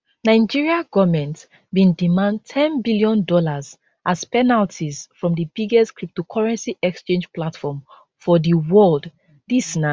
nigeria goment bin demand ten billion dollars as penalties from di biggest cryptocurrency exchange platform for di world dis na